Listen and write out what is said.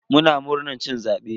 Muna murnan cin zabe.